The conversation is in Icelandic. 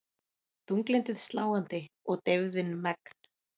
Þunglyndið sláandi og deyfðin megn.